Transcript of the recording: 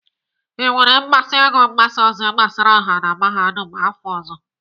I nwere mmasị ịgụ mgbasa ozi gbasara ọha na Mahadum afọ ọzọ?